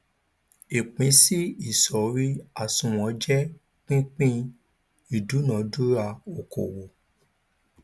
ìpínsí ìsọrí àsunwon jẹ pípín ìdúnadúrà okòwò